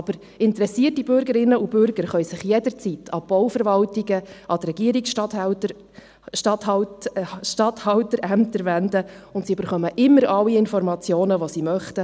Aber interessierte Bürgerinnen und Bürger können sich jederzeit an die Bauverwaltungen, an die Regierungsstatthalterämter wenden, und sie erhalten immer alle Informationen, die sie möchten.